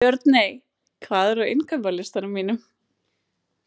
Björney, hvað er á innkaupalistanum mínum?